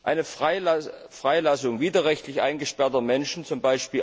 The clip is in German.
Eine Freilassung widerrechtlich eingesperrter Menschen, z.